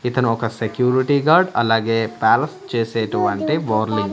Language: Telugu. ఇతను ఒక సెక్యూరిటీ గార్డ్ అలాగే చేసేటువంటి బోర్లింగ్--